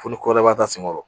Fo ni kɔrɔbɔrɔ ta sen kɔrɔ